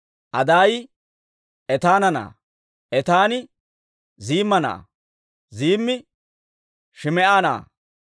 Adaayi Etaana na'aa; Etaani Ziimma na'aa; Ziimmi Shim"a na'aa;